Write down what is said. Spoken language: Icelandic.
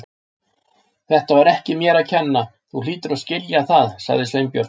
Þetta var ekki mér að kenna, þú hlýtur að skilja það- sagði Sveinbjörn.